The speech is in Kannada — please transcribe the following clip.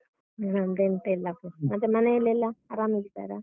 ನಂದೆಂತ ಇಲ್ಲಪ್ಪ ಮತ್ತೆ ಮನೆಯಲ್ಲೆಲ್ಲ ಆರಾಮಾಗಿದ್ದಾರ?